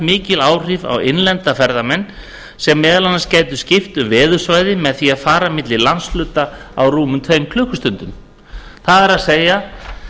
mikil áhrif á innlenda ferðamenn sem meðal annars gætu skipt um veðursvæði með því að fara milli landshluta á rúmum tvær klukkustundir það er að segja